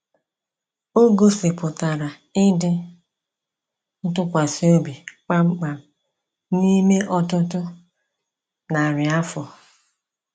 O gosipụtara ịdị ntụkwasị obi kpamkpam n’ime ọtụtụ narị afọ.